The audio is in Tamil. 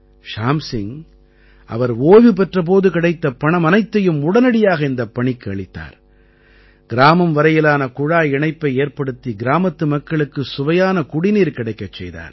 ஷ்யாம் சிங் அவர் ஓய்வு பெற்ற போது கிடைத்த பணம் அனைத்தையும் உடனடியாக இந்தப் பணிக்கு அளித்தார் கிராமம் வரையிலான குழாய் இணைப்பை ஏற்படுத்தி கிராமத்து மக்களுக்கு சுவையான குடிநீர் கிடைக்கச் செய்தார்